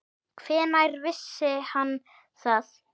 Hvenær vissi hann það?